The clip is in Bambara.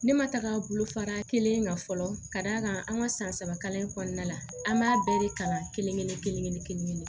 Ne ma taga bolo fara kelen kan fɔlɔ ka d'a kan an ka san saba kalan in kɔnɔna la an b'a bɛɛ de kalan kelen-kelen kelen-kelen kelen-kelen